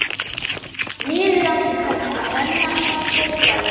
Niður andlit hennar renna saltir lækir.